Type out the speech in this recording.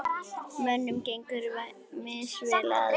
Mönnum gengur misvel að selja.